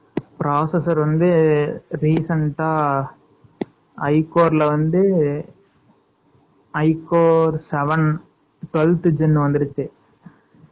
processor வந்து, recent ஆ, I Core ல வந்து, I Coreseven , twelfth gin வந்துருச்சு